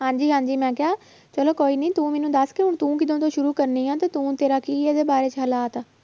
ਹਾਂਜੀ ਹਾਂਜੀ ਮੈਂ ਕਿਹਾ ਚਲੋ ਕੋਈ ਨੀ ਤੂੰ ਮੈਨੂੰ ਦੱਸ ਕਿ ਤੂੰ ਕਦੋਂ ਤੋਂ ਸ਼ੁਰੂ ਕਰਨੀ ਆਂ ਤੇ ਤੂੰ ਤੇਰਾ ਕੀ ਇਹਦੇ ਬਾਰੇ 'ਚ ਹਾਲਾਤ ਆ